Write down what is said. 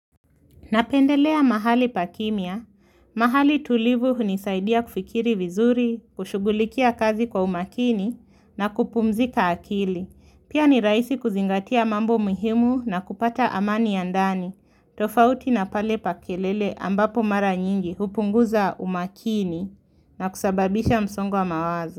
Napendelea mahali pa kimya, mahali tulivu hunisaidia kufikiri vizuri, kushughulikia kazi kwa umakini na kupumzika akili. Pia ni rahisi kuzingatia mambo muhimu na kupata amani ya ndani. Tofauti na pale pa kelele ambapo mara nyingi, hupunguza umakini na kusababisha msongo wa mawazo.